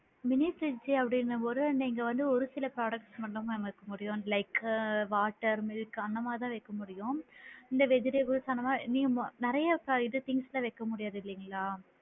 Mini fridge அப்படின்னும் போது நீங்க வந்து ஒரு சில products மட்டும் தான் mam வைக்க முடியும் like water milk அந்த மாதிரி தான் ma'am வைக்க முடியும் இந்த vegetables அந்த மாதிரி நீங்க நிறைய things அந்த மாதிரிலா வைக்க முடியாது இல்லைங்களா!